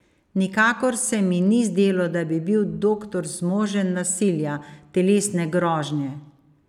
Nikakor se mi ni zdelo, da bi bil doktor zmožen nasilja, telesne grožnje.